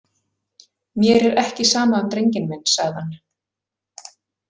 Mér er ekki sama um drenginn minn, sagði hann.